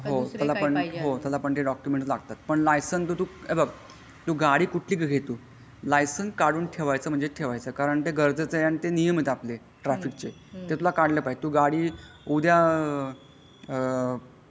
हो त्याला पण ते डॉक्युमेंट लागतात पण लायसेन्स तू हे बघ गाडी कुठली पण घे तू पण लायसेन्स काढून ठेवायचा म्हणजे ठेवायचा कारण ते गरजच आहे आणि ते नियम आहे ट्राफिक चे त्यातला तू काढला पाहजे तू गाडी उद्या आ.